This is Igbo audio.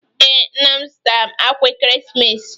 Ee, nna m zụtara m akwa ekeresimesi.